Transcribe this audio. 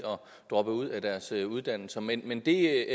droppe ud af deres uddannelser men men det